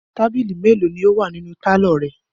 Tábìlì mélòó ni ó wà nínú pálọ̀ rẹ?